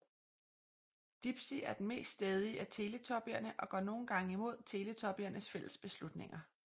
Dipsy er den mest stædige af Teletubbierne og går nogle gange imod Teletubbiernes fælles beslutninger